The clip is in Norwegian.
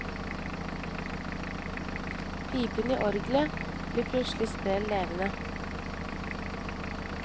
Pipene i orgelet blir plutselig sprell levende.